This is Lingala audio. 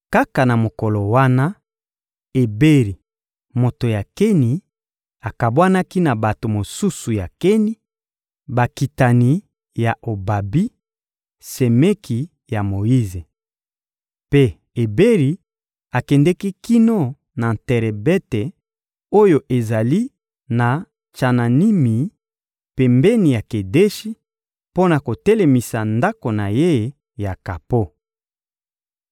Kaka na mokolo wana, Eberi, moto ya Keni, akabwanaki na bato mosusu ya Keni, bakitani ya Obabi, semeki ya Moyize. Mpe Eberi akendeki kino na terebente oyo ezali na Tsananimi, pembeni ya Kedeshi, mpo na kotelemisa ndako na ye ya kapo.